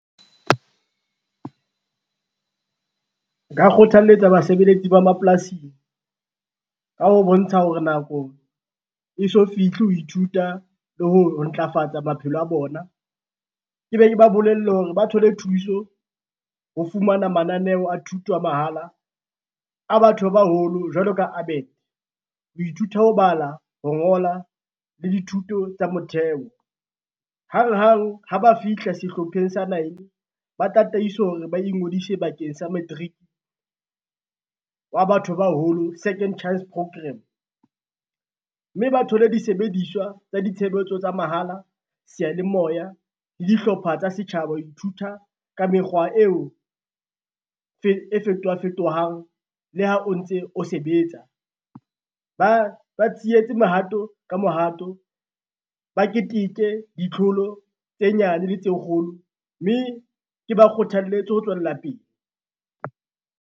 Nka kgothaletsa basebeletsi ba mapolasing, ka ho bontsha hore nako e so fihle ho ithuta le ho ntlafatsa maphelo a bona, ke be ke ba bolelle hore ba thole thuso ho fumana mananeo a thuto a mahala a batho ba baholo jwalo ka ABET, ho ithuta ho bala, ho ngola le dithuto tsa motheo. Hanghang ha ba fihla sehlopheng sa nine, ba tataiswe hore ba ingodise bakeng sa matric, wa batho baholo Second Chance program, mme ba thole disebediswa tsa ditshebetso tsa mahala, seyalemoya le dihlopha tsa setjhaba ho ithuta ka mekgwa eo e fetohafetohang le ha o ntse o sebetsa. Ba mohato ka mohato ba keteke ditlholo tse nyane le tse kgolo, mme ke ba kgothaletse ho tswella pele.